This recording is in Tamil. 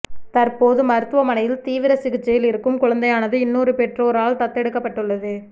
தற்போது மருத்துவமனையில் தீவிர சிகிச்சையில் இருக்கும் குழந்தையானது இன்னொரு பெற்றோரால் தத்தெடுக்கப்பட்டுள்ளது